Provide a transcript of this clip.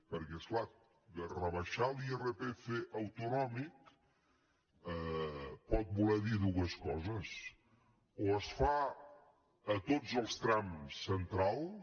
perquè és clar rebaixar l’irpf autonòmic pot voler dir dues coses o es fa a tots els trams centrals